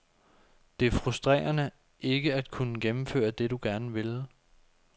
Det er frustrerende ikke at kunne gennemføre det, du gerne ville.